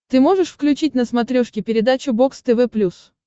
ты можешь включить на смотрешке передачу бокс тв плюс